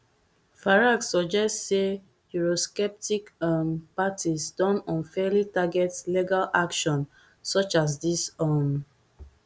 farage suggest sayeurosceptic um parties don unfairly target legal action such as dis um